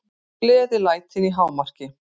Gleðilætin í hámarki.